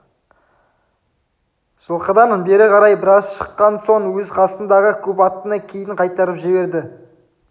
жылқыдан бері қарай біраз шыққан соң өз қасындағы көп аттыны кейін қайтарып жіберді